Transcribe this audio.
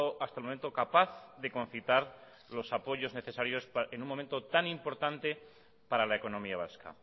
hasta el momento capaz de concitar los apoyos necesarios en un momento tan importante para la economía vasca